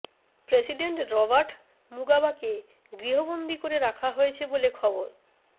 president Robert মুগাবাকে গৃহবন্দি করে রাখা হয়েছে বলে খবর